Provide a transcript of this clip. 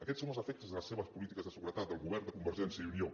aquests són els efectes de les seves polítiques de seguretat del govern de convergència i unió